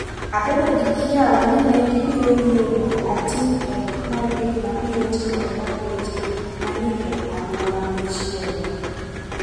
Abedo gi kiawa ni ne gibiro yie mondo ating’ pek mar gik ma biro timore bang’ weche ma ni e alwora machielo.